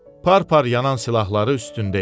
Par-par yanan silahları üstündə idi.